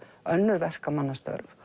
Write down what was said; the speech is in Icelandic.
önnur verkamannastörf